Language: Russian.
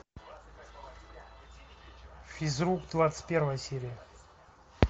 физрук двадцать первая серия